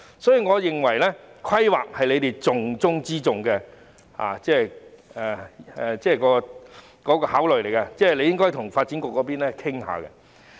所以，我認為規劃是當局重中之重的考慮，應該與發展局商討一下。